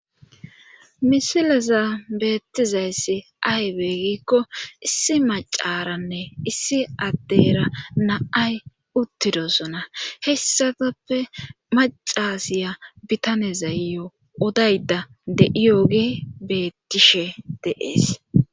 Misileza beettizayssi aywe gikko issi macaranne issi addeyra naay uttidosona hessafappe macasiya bitanezayyo odayda deiyooge bettishe deees